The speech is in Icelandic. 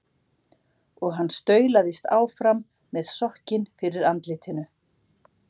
Og hann staulaðist áfram með sokkinn fyrir andlitinu.